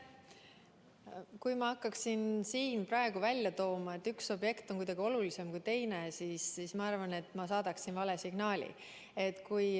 Kui ma hakkaksin siin praegu välja tooma, et üks objekt on kuidagi olulisem kui teine, siis ma saadaksin välja vale signaali.